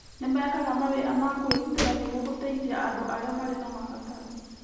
Nĩ mekaga mawĩra ma kwĩrutĩra nĩguo gũteithia andũ na arĩa marĩ na mabataro.